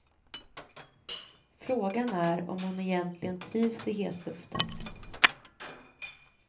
Frågan är om hon egentligen trivs i hetluften.